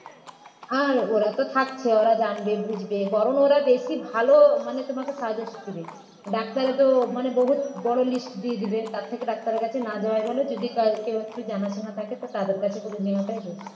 আর ওরা তো থাকছেই ওরা জানবে বুঝবে বরং ওরা বেশি ভালো মানে তোমাকে suggest দেবে ডাক্তার তো মানে বহুত বড় list দিয়ে দিবে তার থেকে ডাক্তারের কাছে না যাওয়াই ভালো যদি কা কেউ একটু জানাশোনা থাকে তো তাদের কাছে করে নেওয়াটাই best